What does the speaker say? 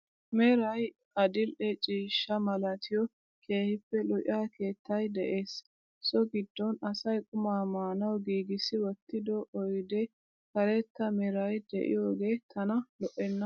Meray adil"e ciishsha malatiyo keehippe lo'iya keettay de'ees, so giddon asay qumaa maanawu giggissi wottiddo oydee karetta meray de'iyogee tana lo"enna.